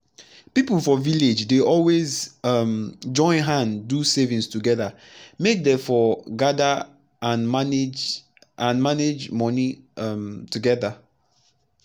pipu for village dey always um join hand do savings togeda make dey for gada and manage and manage moni um togeda